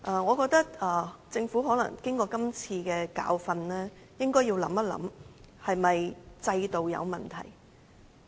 我覺得政府經過這次教訓，應該想一想是否在制度上出現了問題。